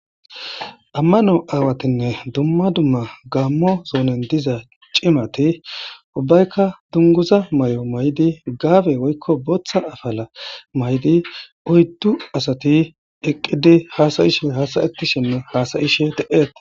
ammano aawatinne dumma dumma gaammo soonen diza cimati ubbaykka dunguza may7o may7di gaabe woykko booththa afala may7di oyddu asati eqqidi haasayishe hasayeti shimme haasayishe de7eetes